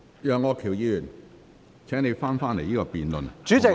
楊議員，請你返回這項辯論的議題。